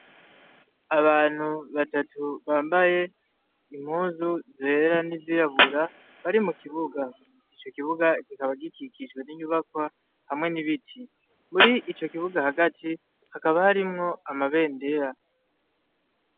Abantu batatu bambaye impuzu zera n'izirabura bari mu kibuga. Ico kibuga kikaba gikikijwe n'inyubakwa hamwe n'ibiti. Muri ico kibuga hagati hakaba harimwo amabendera.